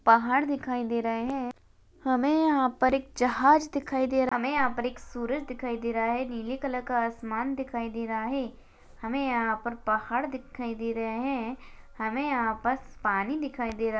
पहाड़ दिखाई दे रहे है हमें यहा पर जहाज दिखाई दे रहा है हमें यहा पर सूरज दिखाई दे रहा है नीले कलर का आसमान दिखाई दे रहा है हमे यहा पर पहाड़ दिखाई दे रहा है हमें यहा पर पानी दिखाई दे रहा